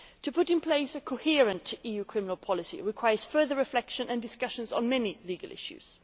Putting in place a coherent EU criminal policy requires further reflection and discussion on many legal issues.